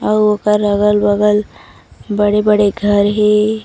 अउ ओकर अगल-बगल बड़े-बड़े घर हे।